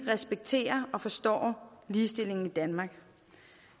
respekterer og forstår ligestillingen i danmark